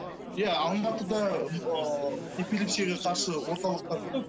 иә алматыда ы эпилепсияға қарсы орталықтар көп